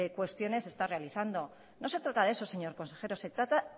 cuestiones está realizando no se trata de eso señor consejero se trata